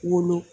Wolo